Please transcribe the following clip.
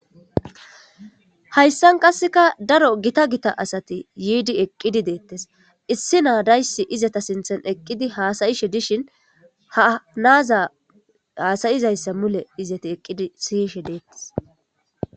hayssan qasseka daro gita gita asati yiidi eqqidi deettes issi naadayssi izata sinthen eqqidi haasa'ishe dishin havnaaza haasayizayssa mule izati eqqidi siyishe deettes